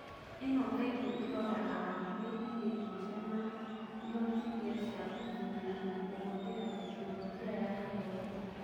ĩno kaingĩ ĩraroraga hakuhĩ ihĩngĩca na ihotithia cia gũkinyĩra na kũhũthĩra Tekinoronjĩ ya Gĩthomo.